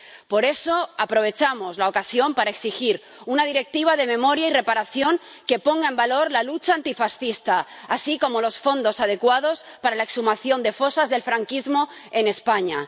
Por eso, aprovechamos la ocasión para exigir una directiva de memoria y reparación que ponga en valor la lucha antifascista, así como los fondos adecuados para la exhumación de fosas del franquismo en España.